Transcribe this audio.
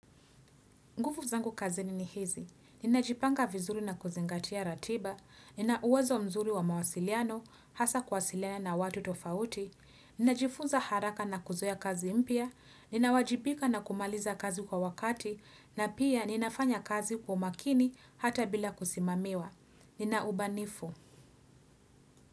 Ngufu zangu kazini ni hizi, ninajipanga vizuri na kuzingatia ratiba, nina uwezo mzuri wa mawasiliano, hasa kuwasiliana na watu tofauti, ninajifunza haraka na kuzoea kazi mpya, ninawajibika na kumaliza kazi kwa wakati, na pia ninafanya kazi kwa makini hata bila kusimamiwa. Nina ubanifu.